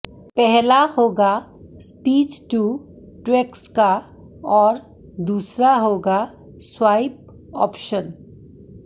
पहला होगा speech to text का और दूसरा होगा स्वाइप ऑप्शन